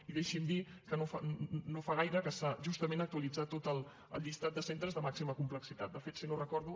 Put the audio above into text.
i deixi’m dir que no fa gaire que s’ha justament actualitzat tot el llistat de centres de màxima complexitat de fet si no ho recordo